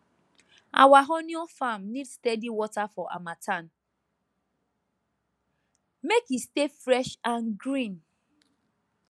our onion farm need steady water for harmattan make e stay fresh and green